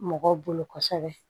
Mɔgɔw bolo kosɛbɛ